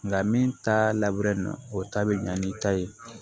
Nka min ta labureli nɔ o ta bɛ ɲa ni ta ye